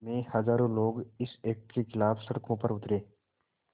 में हज़ारों लोग इस एक्ट के ख़िलाफ़ सड़कों पर उतरे